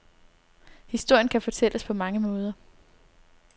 Historien kan fortælles på mange måder.